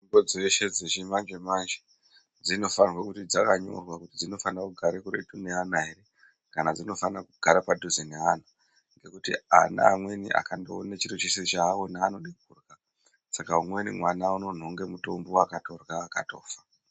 Mitombo dzeshe dzechimanjemanje, dzinofanirwe kuti dzakanyorwa kuti dzinonire kugare kuretu neana ere ,kana dzinofane kugare padhuze neana, ngekuti ana amweni akandoone chiro chese chaaona anode kurya. Saka umweni mwana unonhonge mutombo akatorya akafa.